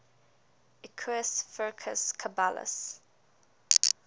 equus ferus caballus